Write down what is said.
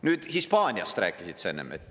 Nüüd, Hispaaniast rääkisid sa enne.